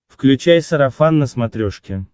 включай сарафан на смотрешке